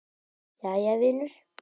Jæja, vinur.